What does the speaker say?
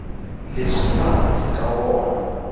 leswi nga hansi ka wona